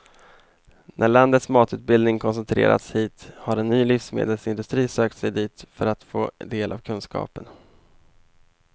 När landets matutbildning koncentrerats hit har en ny livsmedelsindustri sökt sig dit för att få del av kunskapen.